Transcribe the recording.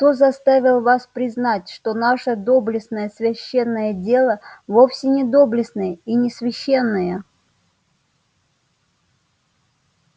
кто заставил вас признать что наше доблестное священное дело вовсе не доблестное и не священное